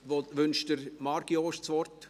Wünscht Marc Jost das Wort?